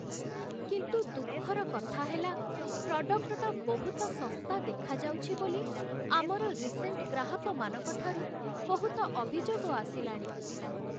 କିନ୍ତୁ, ଦୁଃଖର କଥା ହେଲା ପ୍ରଡ଼କ୍ଟଟା ବହୁତ ଶସ୍ତା ଦେଖାଯାଉଚି ବୋଲି ଆମର ରିସେଣ୍ଟ୍ ଗ୍ରାହକମାନଙ୍କ ଠାରୁ ବହୁତ ଅଭିଯୋଗ ଆସିଲାଣି ।